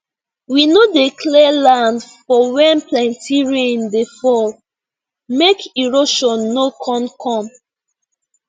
we no dey clear land for when plenty rain dey fall make erosion no con come